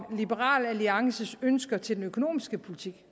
om liberal alliances ønsker til den økonomiske politik